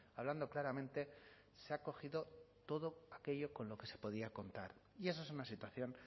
hablando claramente se ha cogido todo aquello con lo que se podía contar y eso es una situación